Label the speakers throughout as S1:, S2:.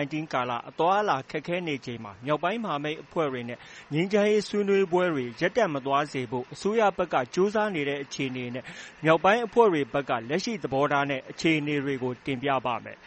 S1: -19 ကာလ အသွားအလာခက်ခဲနေချိန်မှာ မြောက်ပိုင်းမဟာမိတ်အဖွဲ့တွေနဲ့ ငြိမ်းချမ်းရေးဆွေးနွေးပွဲတွေ ရပ်တန့်မသွားစေဖို့ အစိုးရဘက်ကကြိုးစားနေတဲ့အခြေအနေနဲ့ မြောက်ပိုင်းအဖွဲ့တွေဘက်က လက်ရှိ သဘောထားနဲ့ အခြေအနေတွေကို ကိုမိုးဇော် တင်ပြပေးပါမယ်။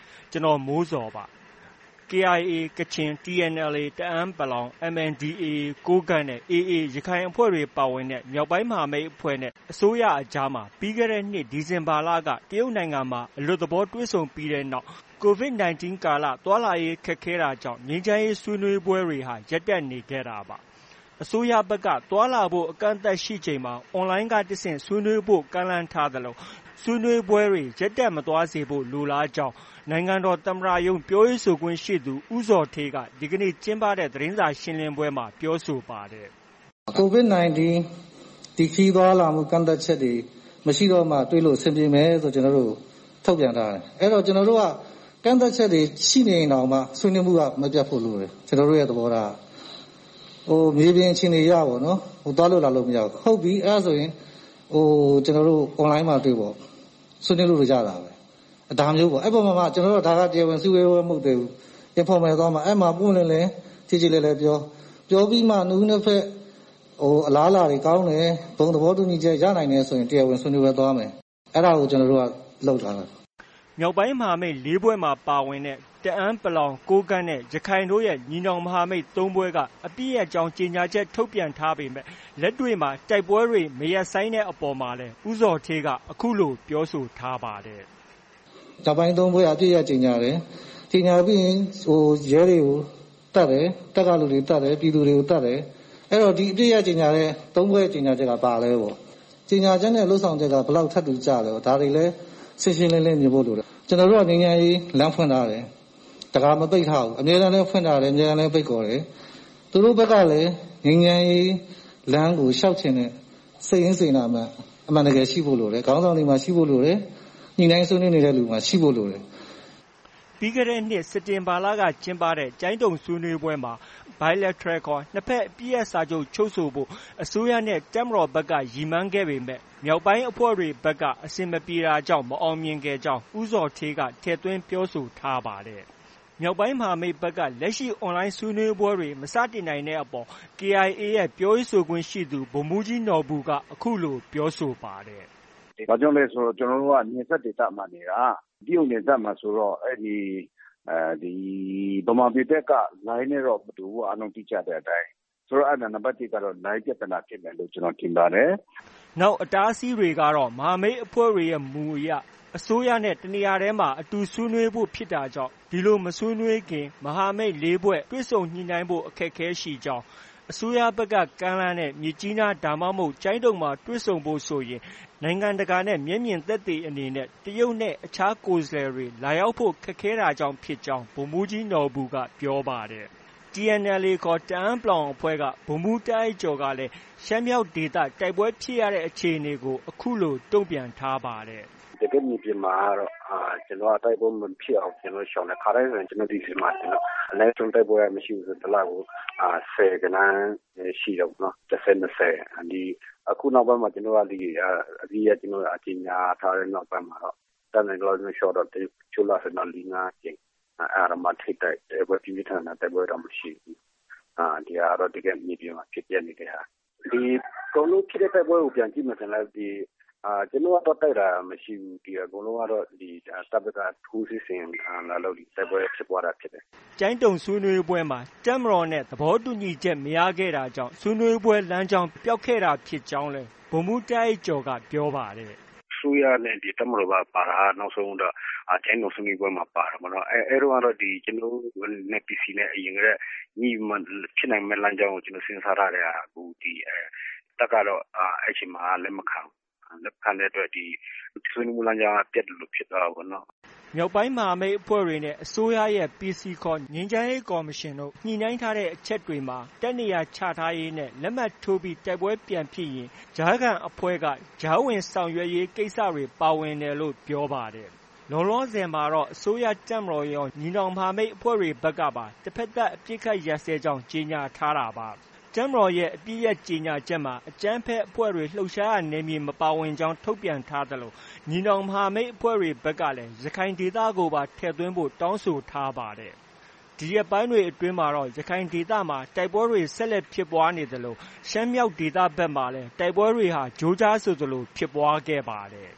S1: KIA ကချင်၊ TNLA တအန်း(ပလောင်)၊ MNDAA ကိုးကန့်နဲ့ AA ရခိုင်အဖွဲ့တွေပါဝင်တဲ့ မြောက်ပိုင်း မဟာမိတ်အဖွဲ့နဲ့ အစိုးရအကြားမှာ ပြီးခဲ့တဲ့နှစ် ဒီဇင်ဘာလက တရုတ်နိုင်ငံမှာ အလွတ်သဘော တွေ့ဆုံ ပြီးတဲ့နောက် COVID-19 ကပ်ရောဂါနဲ့ သွားလာရေး ခက်ခဲတာကြောင့် ငြိမ်းချမ်းရေး ဆွေးနွေးပွဲတွေဟာ ရပ်တန့်နေခဲ့တာပါ။ အစိုးရဘက်က သွားလာဖို့ အကန့်အသတ်ရှိချိန်မှာ Online က တဆင့် ဆွေးနွေးဖို့ ကမ်းလှမ်းထားသလို ဆွေးနွေးပွဲတွေ ရပ်တန့်မသွားစေဖို့ လိုလားကြောင်း နိုင်ငံတော်သမ္မတရုံး ပြောရေးဆိုခွင့်ရှိသူ ဦးဇော်ဌေးက ဒီနေ့ ကျင်းပတဲ့သတင်းစာရှင်းလင်းပွဲမှာ အခုလို ပြောဆိုပါတယ်
S2: ။ “COVID-19 ဒီခရီးသွားလာမှု ကန့်သတ်ချက်တွေ မရှိတော့မှ တွေ့လို့ အဆင်ပြေမယ်လို့ ကျနော်တို့ကို ထုတ်ပြန်ထားတယ်။ ကျနော်တို့က ကန့်သတ်ချက်တွေ ရှိနေရင်တောင်မှ ဆွေးနွေးမှုက မပြတ်ဖို့ လိုတယ်။ ကျနော်တို့ရဲ့သဘောထားက။ မြေပြင်အခြေအနေအရ သွားလို့ လာလို့ မရဘူး။ အဲဒါဆိုရင် ကျနော်တို့ Online မှာ တွေ့ပေ့ါ။ ဆွေးနွေးလို့ ရတာပဲ ဒါမျိုးပေါ့။ ဒါက တရားဝင် အစည်းအဝေးပွဲမဟုတ်သေးဘူး။ Informal သွားမှာ။ အဲဒီမှာ ပွင့်ပွင့်လင်းလင်း ကျေကျေလည်လည်ပြော၊ ပြောပြီးမှ နှစ်ဦးနှစ်ဘက် အလားအလာတွေ ကောင်းတယ်။ ဘုံသဘောတူညီချက် ရနိုင်တယ်ဆိုရင် တရားဝင်ဆွေးနွေးပွဲသွားမယ်။ ”
S1: မြောက်ပိုင်းမဟာမိတ် ၄ဖွဲ့မှာ ပါဝင်တဲ့ တအန်း(ပလောင်)၊ ကိုးကန့်နဲ့ ရခိုင်တို့ရဲ့ ညီနောင်မဟာမိတ် ၃ဖွဲ့က အပစ်ရပ်ကြောင်း ကြေညာချက် ထုတ်ပေမဲ့ လက်တွေ့မှာ တိုက်ပွဲတွေ မရပ်ဆိုင်းတဲ့အပေါ်မှာလည်း ဦးဇော်ဌေးက အခုလို ပြောဆိုထားပါတယ်။ “
S2: မြောက်ပိုင်း ၃ဖွဲ့က အပစ်ရပ်ကြေညာတယ်။ ကြေညာပြီးရင် ရဲတွေကို သတ်တယ်။ တပ်ကလူတွေကို သတ်တယ်။ ပြည်သူတွေကို သတ်တယ်။ အဲတော့ ဒီအပစ်ရပ်ကြေညာတဲ့ ၃ဖွဲ့ ကြေညာချက်က ဘာလဲပေါ့။ ကြေညာချက်နဲ့ လုပ်ဆောင်ချက်က ဘယ်လောက် ထပ်တူကျလဲပေါ့။ ဒါတွေလည်း ရှင်းရှင်းလင်းလင်းမြင်ဖို့ လိုတယ်။ ကျနော်တို့က ငြိမ်းချမ်းရေး လမ်းဖွင့်ထားတယ်။ တံခါးပိတ်မထားဘူး။ အမြဲတမ်းလမ်းဖွင့်ထားတယ်၊ အမြဲတမ်းလည်း ဖိတ်ခေါ်တယ်။ သူတို့ဘက်ကလည်း ငြိမ်းချမ်းရေးလမ်းကို လျှောက်ချင်တဲ့ စိတ်ရင်းစေတနာအမှန်ရှိဖို့ လိုတယ်။ ခေါင်းဆောင်တွေမှာ ရှိဖို့လိုတယ်။ ညှိနှိုင်းဆွေးနွေးနေတဲ့လူတွေမှာ ရှိဖို့လိုတယ်။
S1: ” ပြီးခဲ့တဲ့နှစ် စက်တင်ဘာလကကျင်းပတဲ့ ကျိုင်းတုံဆွေးနွေးပွဲမှာ Bilateral ခေါ် နှစ်ဘက် အပစ်ရပ်စာချုပ် ချုပ်ဆိုဖို့ အစိုးရနဲ့ တပ်မတော်ဘက်က ရည်မှန်းခဲ့ပေမဲ့ မြောက်ပိုင်းအဖွဲ့တွေဘက်က အဆင်မပြေတာကြောင့် မအောင်မြင်ခဲ့ကြောင်း ဦးဇော်ဌေးက ထည့်သွင်းပြောဆိုထားပါတယ်။ မြောက်ပိုင်းမဟာမိတ်ဘက်က လက်ရှိ Onlineဆွေးနွေးပွဲ မစတင်နိုင်တဲ့အပေါ် KIA ရဲ့ ပြောရေးဆိုခွင့်ရှိသူ ဗိုလ်မှုးကြီးနော်ဘူက အခုလို ပြောဆိုထားပါတယ်
S3: ။ “ ဘာကြောင့်လဲ ဆိုတော့ ကျနော်တို့က နယ်စပ်ဒေသမှာနေတာ။ တရုတ်နယ်စပ်မှာဆိုတော့ အဲဒီ ဗမာပြည်ဘက်က လိုင်းနဲ့တော့ မတူဘူး။ အားလုံး သိကြတဲ့အတိုင်း။ အဲဒီမှာ နံပတ်တစ်ကတော့ လိုင်းပြဿနာဖြစ်မယ်လို့ ကျနော်ထင်ပါတယ်။
S1: ” နောက်အတားအဆီးကတော့ မဟာမိတ်အဖွဲ့တွေရဲ့ မူအရ အစိုးရနဲ့ တနေရာတည်းမှာ အတူ ဆွေးနွေးဖို့ ဖြစ်တာကြောင့် ဒီလို မဆွေးနွေးခင် မဟာမိတ် ၄ဖွဲ့ တွေ့ဆုံညှိနှိုင်းဖို့အခက်အခဲရှိကြောင်း၊ အစိုးရဘက်က ကမ်းလှမ်းတဲ့ မြစ်ကြီးနား သို့မဟုတ် ကျိုင်းတုံမှာ တွေ့ဖို့ဆိုရင် နိုင်ငံတကာ သက်သေအနေနဲ့ တရုတ်နဲ့ အခြား ကိုယ်စားလှယ်တွေ လာရောက်ဖို့ ခက်ခဲတာကြောင့် ဖြစ်ကြောင်း ဗိုလ်မှူးကြီးနော်ဘူက ပြောပါတယ်။ TNLA ခေါ် တအန်း(ပလောင်)အဖွဲ့က ဗိုလ်မှုးတာ့အိုက်ကျော်ကလည်း ရှမ်းမြောက်ဒေသ တိုက်ပွဲဖြစ်ရတဲ့အခြေအနေကို အခုလို တ့ုံပြန်ထားပါတယ်။
S3: “ တကယ့်မြေပြင်မှာတော့ တိုက်ပွဲမဖြစ်အောင် ကျနော်တို့ ရှောင်တယ်။ ခါတိုင်းဆို ကျနော်တို့ ဒီဇင်ဘာမှာဆို အနည်းဆုံးမရှိဘူးဆို တိုက်ပွဲက ဆယ်ဂဏန်းရှိတယ်ပေါ့။ တစ်ဆယ်၊ နှစ်ဆယ်။ အခုနောက်ပိုင်းမှာ ကျနော်တို့က ဒီ အပစ်ရပ်ကြေညာထားပြီးတဲ့နောက်ပိုင်းမှာ ကျနော်တို့ တတ်နိုင်သမျှလျော့တော့ ရှေ့လထဲမှာ ၄- ၅ကြိမ်၊ အဲဒါတောင်မှ ထိပ်တိုက် တိုက်ပွဲပြင်းပြင်းထန်ထန် တိုက်ပွဲတောင် မရှိဘူး။ ဒါက တကယ် မြေပြင်မှာ ဖြစ်ပျက်နေတဲ့ဟာ။ အကုန်လုံးတိုက်ပွဲကိုပြန်ကြည့်ရင်လည်း ကျနော်တို့က သွားတိုက်တာမရှိဘူး။ အကုန်လုံးကတော့ တပ်ဘက်က ထိုးစစ်ဆင်လာလို့ တိုက်ပွဲဖြစ်ပွားတာဖြစ်တယ်
S1: ။” ကျိုင်းတုံဆွေးနွေးပွဲမှာ တပ်မတော်နဲ့ သဘောတူညီချက် မရခဲ့တဲ့နောက် ဆွေးနွေးပွဲလမ်းကြောင်း ပျောက်သွားတာ ဖြစ်ကြောင်းလည်း ဗိုလ်မှူးတာ့အိုက်ကျော်က ပြောပါတယ်။
S3: “ အစိုးရနဲ့ ဒီတပ်မတော်က ပါတာက နောက်ဆုံး ကျိုင်းတုံဆွေးနွေးပွဲမှာ ပါတာ။ အဲဒီတုန်းကတော့ ကျနော်တို့နဲ့ PC နဲ့ အရင်တုန်းကညှိပြီးမှ ဖြစ်နိုင်မယ့် လမ်းကြောင်းကို စဉ်းစားထားတဲ့ဟာကို ဒီ တပ်ကတော့ အဲဒီအချိန်မှာ လက်မခံဘူး။ လက်မခံတဲ့အတွက် ဒီဆွေးနွေးပွဲလမ်းကြောင်းက ပျက်သလို ဖြစ်သွားတာပေါ့နော်။”
S1: မြောက်ပိုင်းအဖွဲ့တွေနဲ့ အစိုးရဲ့ PC ခေါ် ငြိမ်းချမ်းရေးကော်မရှင်နဲ့ ညှိနှိုင်းထားတဲ့အချက်တွေမှာ တပ်နေရာချထားရေးနဲ့ လက်မှတ်ထိုးပြီးနောက် တိုက်ပွဲဖြစ်ရင် ကြားခံ အဖွဲ့က ကြားဝင် ဆောင်ရွက်ရေး ကိစ္စတွေ ပါဝင်တယ်လို့ ပြောပါတယ်။ လောလောဆည်မှာတော့ အစိုးရတပ်မတော်ကရော၊ ညီနောင်မဟာမိတ်အဖွဲ့တွေဘက်ကပါ တစ်ဘက်သတ် အပစ်အခတ်ရပ်စဲကြောင်း ကြေညာထားတာပါ။ တပ်မတော်ရဲ့ အပစ်ရပ် ကြေညာချက်မှာ အကြမ်းဖက်အဖွဲ့တွေ လှုပ်ရှားရာနယ်မြေမပါဝင်ကြောင်း ထုတ်ပြန်ထားသလို ညီနောင်မဟာမိတ်တွေဘက်ကလည်း ရခိုင်ဒေသကိုပါ ထည့်သွင်းဖို့တောင်း ဆိုထား ပါတယ်။ ဒီရက်ပိုင်းတွေအတွင်းမှာတော့ ရခိုင်ဒေသမှာ တိုက်ပွဲတွေ ဆက်လက် ဖြစ်ပွားနေသလို ရှမ်းမြောက်ဒေသမှာလည်း တိုက်ပွဲတွေ ကြိုးကြားဆိုသလို ဖြစ်ပွားခဲ့ပါတယ်။